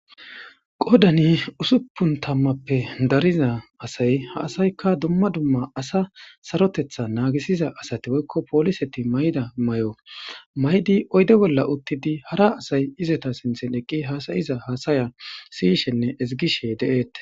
Qodani usuppun tammappe dariza asay ha asaykka dumma dumma asa sarotetha naagisiza asati woykko pooliseti mayda may'o maydi oyde bolla uttidi hara asay izata sinthen eqqi haasayiza haasaya siyishenne ezigishe de'eet.